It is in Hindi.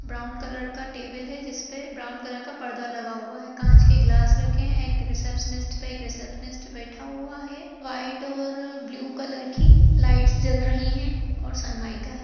ब्राउन कलर का टेबल है जिसपे ब्राउन कलर का परदा लगा हुआ है। कांच के ग्लास रखे हुआ है। एक रिसेप्शनिस्ट पे रिसेप्शनिस्ट बैठा हुआ है। वाइट और अ ब्लू कलर की लाइट्स जल रही है और समयका है।